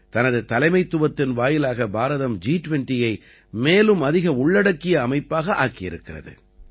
தனது தலைமைத்துவத்தின் வாயிலாக பாரதம் ஜி20யை மேலும் அதிக உள்ளடக்கிய அமைப்பாக ஆக்கியிருக்கிறது